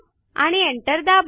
आणि एंटर दाबा